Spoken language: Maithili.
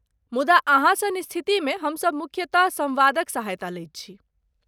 मुदा अहाँ सन स्थितिमे हमसभ मुख्यतः सम्वादक सहायता लैत छी।